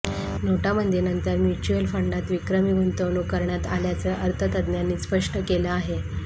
नोटाबंदीनंतर म्युच्युअल फंडात विक्रमी गुंतवणूक करण्यात आल्याचं अर्थतज्ज्ञांनी स्पष्ट केलं आहे